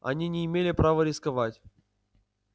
они не имела права рисковать